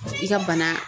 I ka bana